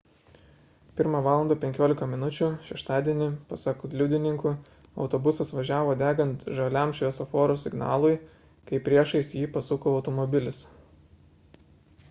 1:15 val šeštadienį pasak liudininkų autobusas važiavo degant žaliam šviesoforo signalui kai priešais jį pasuko automobilis